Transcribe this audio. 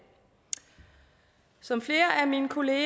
som flere af mine kolleger